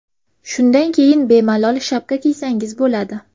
Shundan keyin bemalol shapka kiysangiz bo‘ladi.